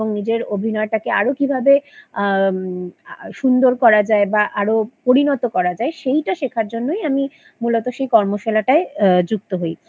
এবং নিজের অভিনয়টাকে আরো কিভাবে আ সুন্দর করা যায় বা আরো পরিণত করা যায় সেইটা শেখার জন্যই আমি মূলত সেই কর্মশালাটায় আ যুক্ত হই